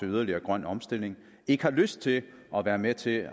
yderligere grøn omstilling og ikke lyst til at være med til